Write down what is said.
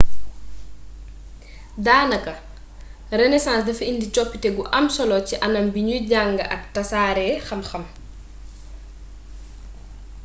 daanaka renaissance dafa indi coppite gu am solo ci anam biñuy njànge ak tasaare xam-xam